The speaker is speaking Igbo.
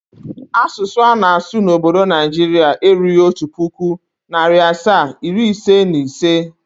Asụsụ ana-asụ n'obdo Naijiria erughi otu pụkụ, narị asaa, iri ise na ise.